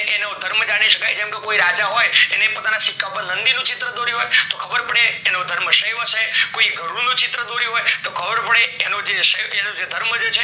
એ એનો ધર્મ જાની શકાય જેમ કે કોઈ રાજા હોય એના પોતાના સિક્કા ઉપર નંદી નું ચિત્ર દોર્યું હોય તો ખબર પડે એનો ધર્મ શય્વ હયશે કોઈ વરુ નું ચિત્ર દોર્યું હોય તો ખબર પડે એનો જે ધર્મ છે